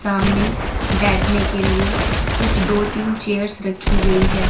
सामने बैठने के लिए कुछ दो तीन चेयर्स रखी गई है।